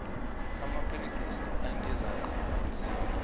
amaperegisi anezokha mzimba